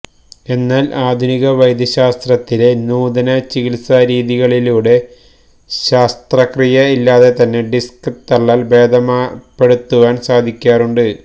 എന്നാല് ആധുനിക വൈദ്യശാസ്ത്രത്തിലെ നൂതന ചികിത്സാ രീതികളിലൂടെ ശസ്ത്രക്രിയ ഇല്ലാതെ തന്നെ ഡിസ്ക് തള്ളല് ഭേദപ്പെടുത്തുവാന് സാധിക്കാറുണ്ട്